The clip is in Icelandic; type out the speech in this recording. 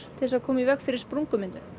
til að koma í veg fyrir sprungumyndun